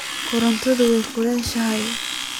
Kudhartan way kulushaxy .